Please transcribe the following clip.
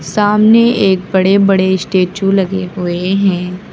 सामने एक बड़े बड़े स्टैचू लगे हुए हैं।